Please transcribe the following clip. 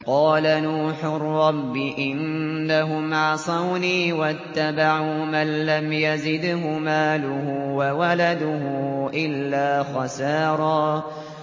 قَالَ نُوحٌ رَّبِّ إِنَّهُمْ عَصَوْنِي وَاتَّبَعُوا مَن لَّمْ يَزِدْهُ مَالُهُ وَوَلَدُهُ إِلَّا خَسَارًا